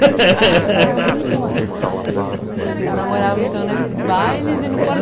Vocês namoravam então nesses bailes e no